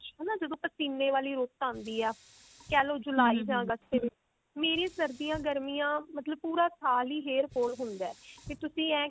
ਹਨਾ ਜਦੋਂ ਪਸੀਨੇ ਵਾਲੀ ਰੁੱਤ ਆਉਂਦੀ ਹੈ ਕਹਿਲੋ ਜੁਲਾਈ ਜਾ ਅਗਸਤ ਦੇ ਵਿੱਚ ਮੇਰੀ ਸਰਦੀਆਂ ਗਰਮੀਆਂ ਮਤਲਬ ਪੂਰਾ ਸਾਲ ਹੀ hair fall ਹੁੰਦਾ ਕਿ ਤੁਸੀ ਐ